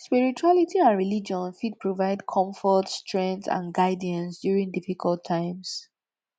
spirituality and religion fit provide comfort strength and guidance during difficult times